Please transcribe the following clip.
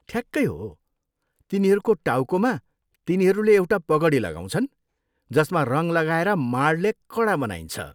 ठ्याक्कै हो! तिनीहरूको टाउकोमा, तिनीहरूले एउटा पगडी लगाउँछन् जसमा रङ लगाएर माडले कडा बनाइन्छ।